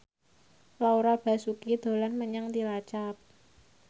Laura Basuki dolan menyang Cilacap